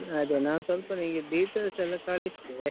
ಅದೆ ನಾನ್ ಸ್ವಲ್ಪ ನಿಂಗೆ details ಎಲ್ಲ ಕಳಿಸ್ತೆ.